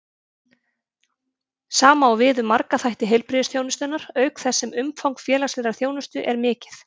Sama á við um marga þætti heilbrigðisþjónustunnar, auk þess sem umfang félagslegrar þjónustu er mikið.